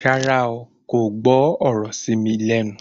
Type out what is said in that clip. Rárá, kò gbọ́ ọ̀rọ̀ ṣí mi lẹ́nu